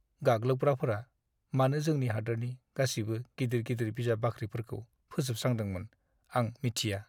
गाग्लोबग्राफोरा मानो जोंनि हादोरनि गासिबो गिदिर-गिदिर बिजाब बाख्रिफोरखौ फोजोबस्रांदोंमोन, आं मिथिया।